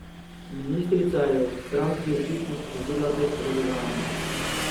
Ministrica je v stranki očitno sprožila pestro dogajanje.